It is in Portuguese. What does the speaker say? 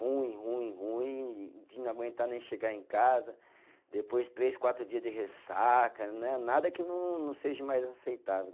Ruim, ruim, ruim, de não aguentar nem chegar em casa, depois três, quatro dia de ressaca, né, nada que não seja mais aceitável.